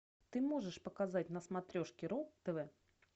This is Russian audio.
ты можешь показать на смотрешке ру тв